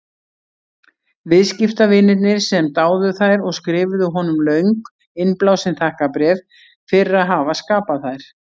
Viðskiptavinirnir sem dáðu þær og skrifuðu honum löng, innblásin þakkarbréf fyrir að hafa skapað þær.